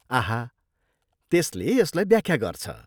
आहा, त्यसले यसलाई व्याख्या गर्छ।